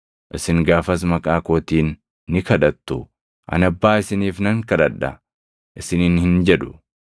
Isin gaafas maqaa kootiin ni kadhattu. Ani Abbaa isiniif nan kadhadha isiniin hin jedhu.